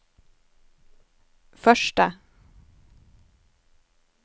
første